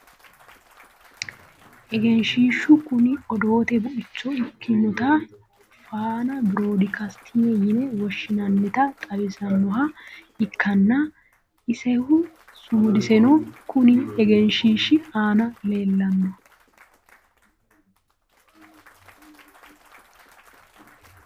egenshiishshu kuni odoote buicho ikkitinota faana biroodi kastinge yine woshshinannita xawisannoha ikkanna , isehu sumudiseno konni egenshiishshi aana leelanno .